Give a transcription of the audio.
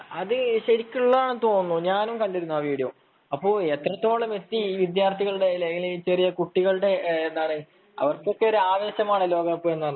അത് ശരിക്കും ഉള്ളതാണെന്ന് തോന്നുന്നു ഞാനും കണ്ടിരുന്നു ആ വീഡിയോ അപ്പൊ എത്രത്തോളം എത്തി ഈ വിദ്യാർത്ഥികളുടെ ചെറിയ കുട്ടികളുടെ എന്താ പറയാ അവർക്കൊക്കെ ഒരു ആവേശമാണല്ലോ ഈ ലോക കപ്പു എന്ന് പറഞ്ഞാൽ